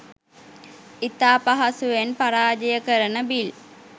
ඉතා පහසුවෙන් පරාජය කරන බිල්